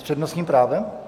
S přednostním právem?